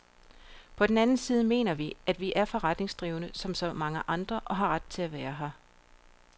På den anden side mener vi, at vi er forretningsdrivende som så mange andre og har ret til at være her.